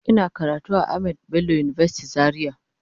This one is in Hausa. Ina karatu a Ahamed Bello university Zaria